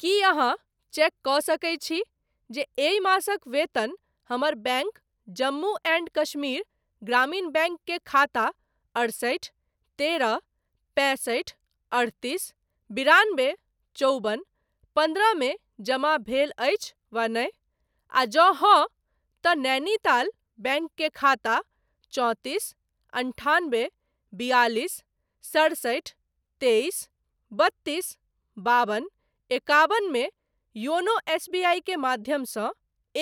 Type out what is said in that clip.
की अहाँ चेक कऽ सकैत छी जे एहि मासक वेतन हमर बैंक जम्मू एंड कश्मीर ग्रामीण बैंक के खाता अड़सठि तेरह पैंसठि अठतीस बिरानबे चौबन पन्द्रह मे जमा भेल अछि वा नहि, आ जँ हाँ, तँ नैनीताल बैंक के खाता चौंतीस अन्ठान्बे बियालिस सड़सठि तेइस बत्तीस बाबन एकाबन मे योनो एसबीआई के माध्यमसँ